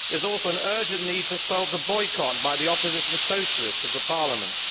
There is also an urgent need to solve the boycott by the opposition Socialists of the Parliament.